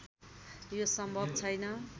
यो सम्भव छैन